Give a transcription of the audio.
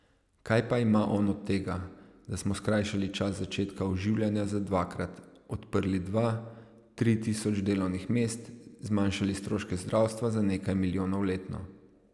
Kaj pa ima on od tega, da smo skrajšali čas začetka oživljanja za dvakrat, odprli dva, tri tisoč delovnih mest, zmanjšali stroške zdravstva za nekaj milijonov letno...